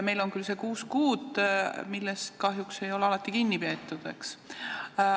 Meil on küll see kuus kuud, millest kahjuks ei ole alati kinni peetud.